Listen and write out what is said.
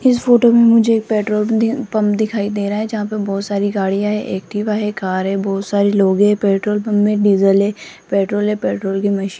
इस फोटो में मुझे एक पेट्रोल पंप दिखाई दे रहा है जहां पर बहुत सारी गाड़ियां है एक्टिवा है कार है बहुत सारे लोग हैं पेट्रोल पंप में डीजल है पेट्रोल है पेट्रोल की मशीन --